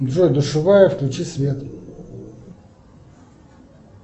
джой душевая включи свет